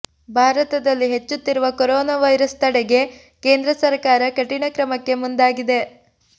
ಭಾರತದಲ್ಲಿ ಹೆಚ್ಚುತ್ತಿರುವ corona virus ತಡೆಗೆ ಕೇಂದ್ರ ಸರಕಾರ ಕಠಿಣ ಕ್ರಮಕ್ಕೆ ಮುಂದಾಗಿದೆ